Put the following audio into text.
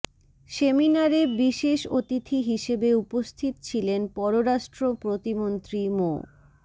সেমিনারে বিশেষ অতিথি হিসেবে উপস্থিত ছিলেন পররাষ্ট্র প্রতিমন্ত্রী মো